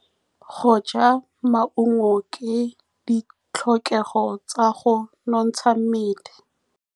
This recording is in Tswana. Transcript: Go ja maungo ke ditlhokegô tsa go nontsha mmele.